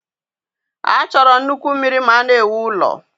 A chọrọ nnukwu mmiri ma a na-ewu ụlọ